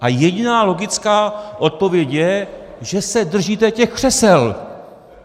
A jediná logická odpověď je, že se držíte těch křesel.